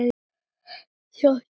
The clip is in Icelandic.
Þau áttu ekkert.